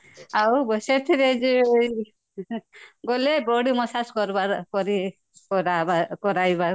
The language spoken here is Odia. ଆଉ ଯିଏ ଗଲେ body massage କାରବାର କରି କରାବା କରାଇବା